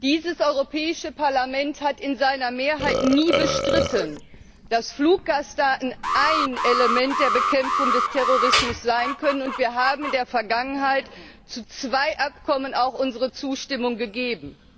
Dieses Europäische Parlament hat in seiner Mehrheit nie bestritten, dass Fluggastdaten ein Element der Bekämpfung des Terrorismus sein können, und wir haben in der Vergangenheit auch unsere Zustimmung zu zwei Abkommen gegeben.